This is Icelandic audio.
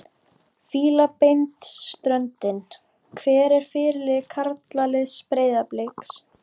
Fílabeinsströndinni Hver er fyrirliði karlaliðs Breiðabliks?